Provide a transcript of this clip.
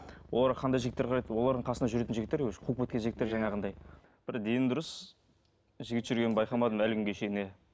оларға қандай жігіттер қарайды олардың қасында жүретін жігіттер қуып кеткен жігіттер жаңағындай бір дені дұрыс жігіт жүргенін байқамадым әлі күнге шейін иә